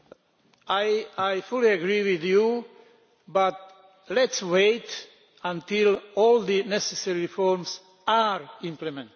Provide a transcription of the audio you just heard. I fully agree with you, but let us wait until all the necessary reforms are implemented.